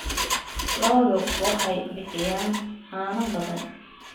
Lo'du waxay bixiyaan caano badan.